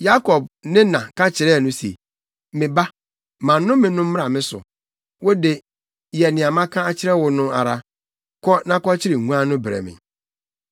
Yakob ne na ka kyerɛɛ no se, “Me ba, ma nnome no mmra me so. Wo de, yɛ nea maka akyerɛ wo no ara. Kɔ na kɔkyere nguan no brɛ me.”